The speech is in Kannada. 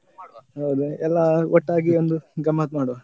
ಹೌದು, ಎಲ್ಲಾ ಒಟ್ಟಾಗಿ ಒಂದು ಗಮ್ಮತ್ ಮಾಡುವ.